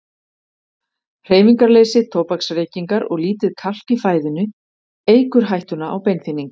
Hreyfingarleysi, tóbaksreykingar og lítið kalk í fæðunni eykur hættuna á beinþynningu.